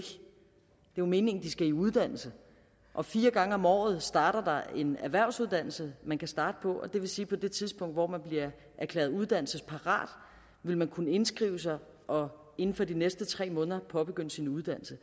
jo meningen at de skal i uddannelse og fire gange om året starter der en erhvervsuddannelse man kan starte på det vil sige at på det tidspunkt hvor man bliver erklæret uddannelsesparat vil man kunne indskrive sig og inden for de næste tre måneder påbegynde sin uddannelse